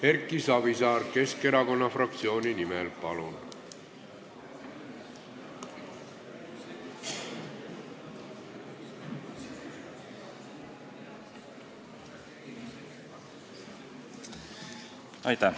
Erki Savisaar Keskerakonna fraktsiooni nimel, palun!